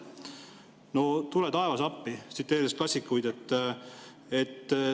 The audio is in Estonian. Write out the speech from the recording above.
No tule taevas appi, tsiteerides klassikuid.